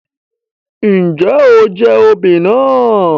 Njẹ o jẹ oobi naa?